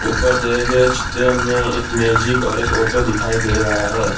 ऊपर दिए गए चित्र में एक मैजिक और एक ऑटो दिखाई दे रहा है।